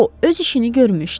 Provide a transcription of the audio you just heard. o öz işini görmüşdü.